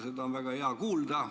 Seda on väga hea kuulda.